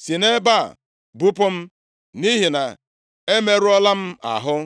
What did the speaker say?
si nʼebe a bupụ m, nʼihi na emerụọla m ahụ.”